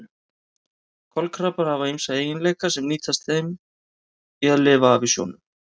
Kolkrabbar hafa ýmsa eiginleika sem nýtast þeim í að lifa af í sjónum.